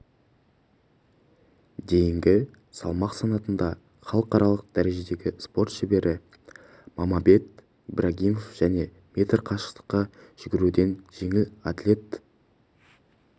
дейінгі салмақ санатында халықаралық дәрежедегі спорт шебері мамабек ибрагимов және метр қашықтыққа жүгіруден жеңіл атлет